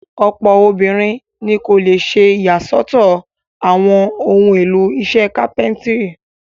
Ọ̀pọ̀ obìnrin ni kò le ṣe ìyàsọ́tọ̀ àwọn ohun-èlò iṣẹ́ kápẹ́ńtírì.